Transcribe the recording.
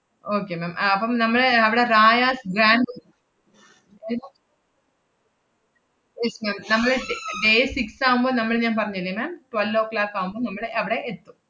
okay ma'am അപ്പം നമ്മള് അവടെ റായാസ് ഗ്രാന്‍റ് yes ma'am നമ്മള് da~ day six ആവുമ്പ നമ്മള് ഞാൻ പറഞ്ഞില്ലേ ma'am twelve oh clock ആവുമ്പ നമ്മള് അവടെ എത്തും.